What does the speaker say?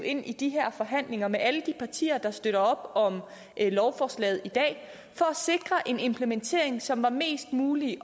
ind i de her forhandlinger med alle de partier der støtter op om lovforslaget i dag for at sikre en implementering som er mest muligt i